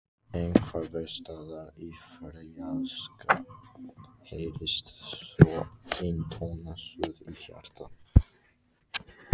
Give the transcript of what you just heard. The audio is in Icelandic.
Einhversstaðar í fjarska heyrist þó eintóna suð í hjarta.